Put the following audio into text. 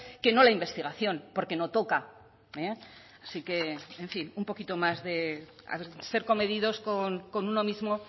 que no la investigación porque no toca así que en fin un poquito más de ser comedidos con uno mismo